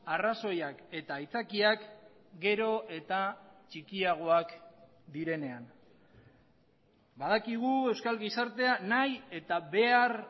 arrazoiak eta aitzakiak gero eta txikiagoak direnean badakigu euskal gizartea nahi eta behar